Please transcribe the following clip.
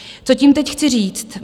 Co tím teď chci říct?